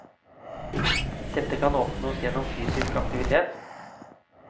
Dette kan oppnås gjennom fysisk aktivitet.